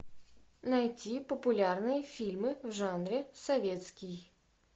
найти популярные фильмы в жанре советский